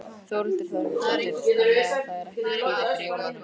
Þórhildur Þorkelsdóttir: Þannig að það er ekki kvíði fyrir jólunum?